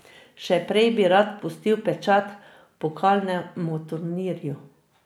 Še prej bi rad pustil pečat pokalnemu turnirju.